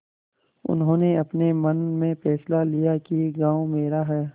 उन्होंने अपने मन में फैसला किया कि गॉँव मेरा है